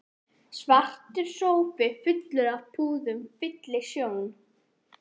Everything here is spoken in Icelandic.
Svartur sófi fullur af púðum fyllir sjón